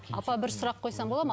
апа бір сұрақ қойсам болады ма